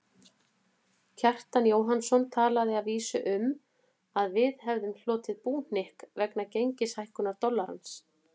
Kjartan Jóhannsson talaði að vísu um að við hefðum hlotið búhnykk vegna gengishækkunar dollarans.